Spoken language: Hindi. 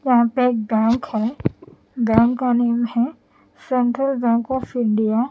यहां पे एक बैंक है बैंक का नेम है सेंट्रल बैंक ऑफ इंडिया।